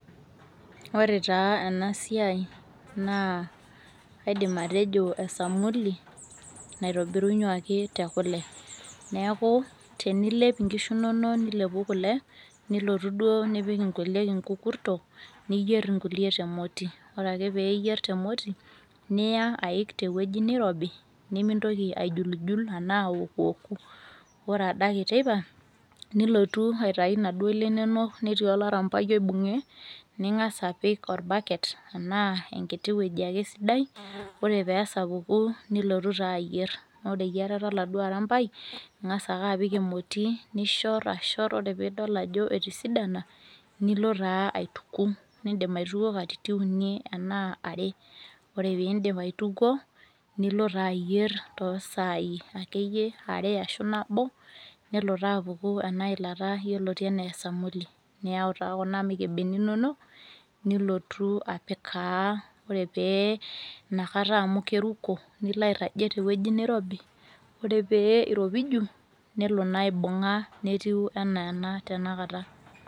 ore taa ena siai naa kaidim atejo, esamuli naitobiruaki tekule, neeku tenilep nkishu inonok ilepu kule, nilotu duoo nipik nkulie inkukurto, niyier nkulie temoti. ore ake pee iyier nkulie temoti, niya, aik te wueji nirobi, nimintoki aijulijul anaa aokuoku, ore adake teipa, nilotu aitayu inaduoo ile inonok, netii olarampai oibung'e nigas apik olbaket anaa enkiti wueji ake sidai. ore pee esapuku nilotu taa ayier, ore eyierata oladuoo arampai, ing'as ake apik emoti nishor, ore pee ishor pee idol ajo etisidana, nilo taa aituku. idim aitukuo katitin uni anaa are. ore pee iidip aitukuo nilo taa ayier too sai akeyie are ashu nabo. nelo taa apuku ina ilata yioloti anaa esamuli. niyau taa kuna mukebeni inonok, nilotu apikaa ore pee ina kata amu keriko, nilo airajie te wueji nirobi. ore pee iropiju nelo naa aibung'a netiu anaa ena tenakata.